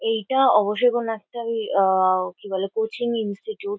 এইটা অবশ্যই কোনো একটা ওই আ-আ কি বলে কোচিং ইনস্টিটিউট ।